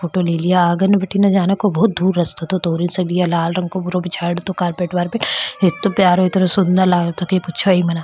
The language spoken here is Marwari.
लाल रंग को पुरो बिछाई रो पूरा कारपेट वारपेट इतना प्यारो इतना सुंदर लागरो पूछो ही मत --